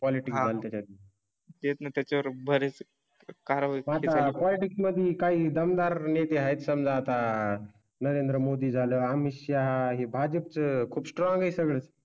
Quality होईल त्यातून. ते त्याच्या वर बरेच काळ. टिक मध्ये काही दमदार नेते आहेत. समजा आता नरेंद्र मोदी झालं अमित शाह भाजप खूप स्ट्रॉंग आहे सगळं.